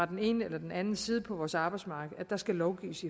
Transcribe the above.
den ene eller den anden side på vores arbejdsmarked at der skal lovgives